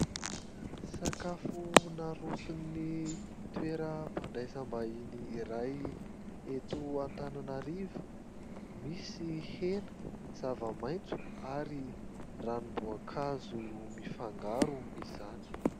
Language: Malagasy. Sakafo naroson'ny toeram-pandraisam-bahiny iray eto Antananarivo : misy hena, zava-maitso ary ranom-boankazo mifangaro izany.